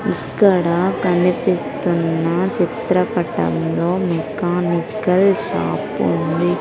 ఇక్కడ కనిపిస్తున్న చిత్రపటంలో మెకానికల్ షాప్ ఉంది.